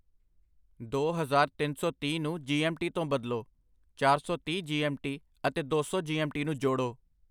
ਦੋ ਹਜ਼ਾਰ ਤਿੰਨ ਸੌ ਤੀਹ ਨੂੰ ਜੀ.ਐੱਮ.ਟੀ. ਤੋਂ ਬਦਲੋ , ਚਾਰ ਸੌ ਤੀਹ ਜੀ ਐੱਮ.ਟੀ. ਅਤੇ ਦੋ ਸੌ ਜੀ.ਐੱਮ.ਟੀ. ਨੂੰ ਜੋੜੋ।